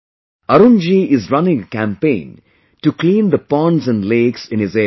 Arun ji is running a campaign to clean the ponds and lakes in his area